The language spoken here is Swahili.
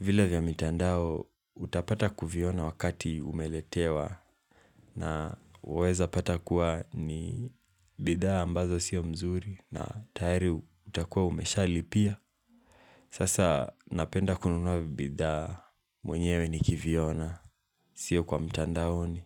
Vile vya mitandao utapata kuviona wakati umeletewa na uweza pata kuwa ni bidhaa ambazo sio mzuri na tayari utakuwa umeshalipia. Sasa napenda kununua bidhaa mwenyewe nikiviona, sio kwa mitandaoni.